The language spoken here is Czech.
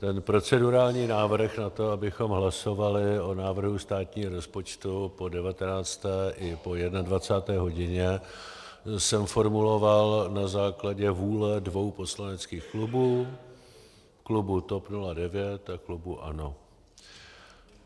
Ten procedurální návrh na to, abychom hlasovali o návrhu státního rozpočtu po 19. i po 21. hodině, jsem formuloval na základě vůle dvou poslaneckých klubů - klubu TOP 09 a klubu ANO.